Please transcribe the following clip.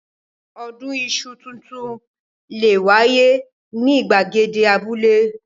Odun iṣu tuntun le wáyé ní ìgbàgede abúlé.